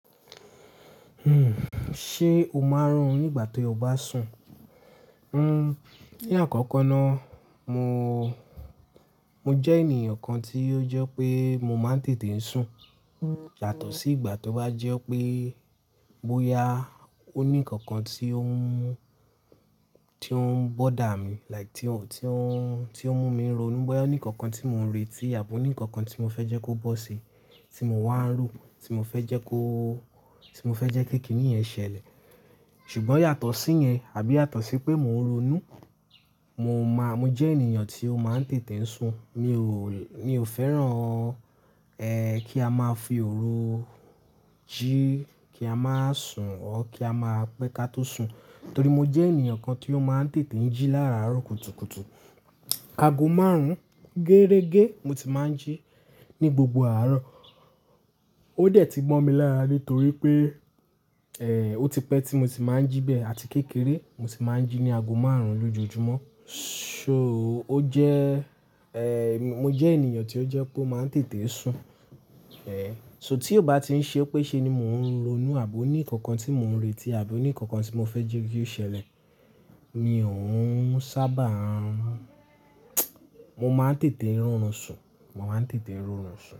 Ṣe o máa ń rùn nígbà tí o bá sùn? Ní àkọ́kọ́ náà, mo, mo jẹ́ ènìyàn kan tí ó jẹ́ pé mo máa ń tètè ń sùn. Yàtọ̀ sí ìgbà tó bá jẹ́ pé bóyá ó ní nnkan kan tí ó ń mú tí ó ń bother mi, like tí ó ń, tí ó ń, tí ó mú mi ronú, bóyá ó ní nnkan kan tí mò ń retí àbí ó ní nnkan kan tí mo fẹ́ jẹ́ kó bọ́ sí tí mo wá ń rùn, tí mo fẹ́ jẹ́ kó, tí mo fẹ́ jẹ́ kí kíní yẹn ṣẹlẹ̀. Ṣùgbọ́n yàtọ̀ sí yẹn àbí yàtọ̀ sí pé mò ń ronú, mo máà, mo jẹ́ ènìyàn tí ó máa ń tètè ń sùn. Mi ò, mi ò fẹ́ràn, kí a máa fi òru jí kí a máa sùn ọ́ kí a máa pẹ́ ká tó sùn. Torí mo jẹ́ ènìyàn kan tí ó máa ń tètè ń jí láàárọ̀ kùtùkùtù. Ago márùn-ún géregé mo ti máa ń jí ní gbogbo àárọ̀. Ó dẹ̀ ti mo mi lára nítorí pé, ó ti pẹ́ tí mo ti máa ń jí bẹ́ẹ̀ àti kékeré mo ti máa ń jí ní ago márùn-ún lójoojúmọ́. So ó jẹ́, eh, mo jẹ́ ènìyàn tí ó jẹ́ pé ó máa ń tètè ń sùn. So tí ó bá ti ń ṣe pé ṣe ni mò ń ronú àbí ó ní nnkan kan tí mò ń retí àbí ó ní nnkan kan tí mo fẹ́ jẹ́ kí ó ṣẹlẹ̀, mi ò ń sábà ń rùn. Mo máa ń tètè ń rorùn sùn, mo máa ń tètè ń rorùn sùn.